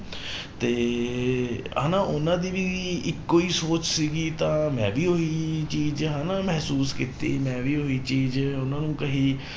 ਤੇ ਹਨਾ ਉਹਨਾਂ ਦੀ ਵੀ ਇੱਕੋ ਹੀ ਸੋਚ ਸੀਗੀ ਤਾਂ ਮੈਂ ਵੀ ਉਹੀ ਚੀਜ਼ ਹਨਾ ਮਹਿਸੂਸ ਕੀਤੀ ਮੈਂ ਵੀ ਉਹੀ ਚੀਜ਼ ਉਹਨਾਂ ਨੂੰ ਕਹੀ